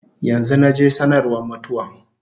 Yanzu naje sanarwa mutuwan